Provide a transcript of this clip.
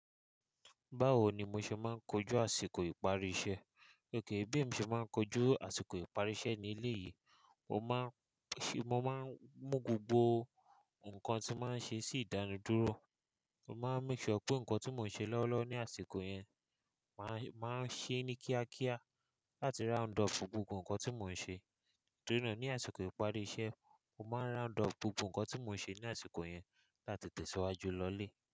Báwo ni mo ṣe máa ń kojú àsìkò ìparí iṣẹ́? Gẹ́gẹ́ bí mo ṣe máa ń kojú àsìkò ìparí iṣẹ́ ní ilé yìí, mo máa ń ṣé, mo máa ń mú gbogbo nǹkan tí mo máa ń ṣe sí ìdánidúró. Mo máa ń make sure pé nǹkan tí mò ń ṣe lọ́wọ́lọ́wọ́ ní àsìkò yẹn, mà á, mà á ṣe é ní kíákíá láti round up gbogbo nǹkan tí mò ń ṣe. Torí náà ní àsìkò ìparí iṣẹ́, mo máa round up gbogbo nǹkan tí mò ń ṣe ní àsìkò yẹn láti tẹ̀síwájú lọlé.